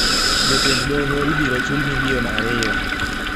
Jotend doho ibiro chul million ariyo